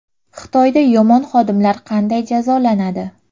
Xitoyda yomon xodimlar qanday jazolanadi?